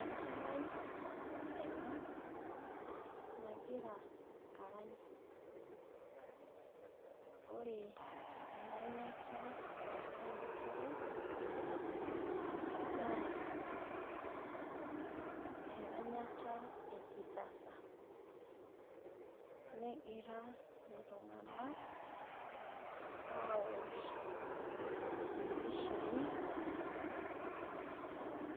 Enkerai ena nagira arang ore eranyata ena kerai naa eranyata ekisasa naa egira iltung'anak awosh epishai ena kerai